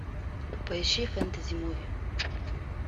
поищи фэнтези муви